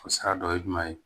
O sara dɔ ye jumɛn ye